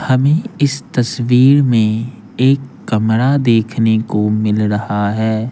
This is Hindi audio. हमें इस तस्वीर में एक कमरा देखने को मिल रहा है।